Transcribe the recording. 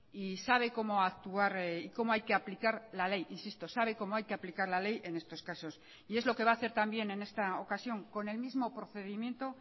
y sabe cómo actuar y cómo hay que aplicar la ley insisto sabe cómo hay que aplicar la ley en estos casos y es lo que va a hacer también en esta ocasión con el mismo procedimiento